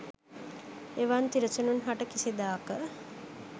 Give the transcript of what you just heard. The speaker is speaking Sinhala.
එවන් තිරිසනුන් හට කිසිදාක